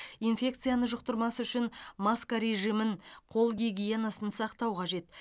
инфекцияны жұқтырмас үшін маска режимін қол гигиенасын сақтау қажет